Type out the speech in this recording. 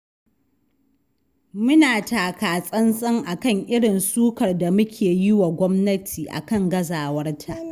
Muna takatsantsan a kan irin sukar da muke yi wa gwamnati a kan gazawarta.